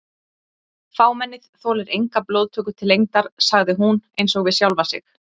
Fámennið þolir enga blóðtöku til lengdar sagði hún einsog við sjálfa sig.